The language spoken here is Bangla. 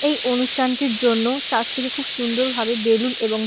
এই অনুষ্ঠানটির জন্য চার্জ -টিকে খুব সুন্দর ভাবে বেলুন এবং--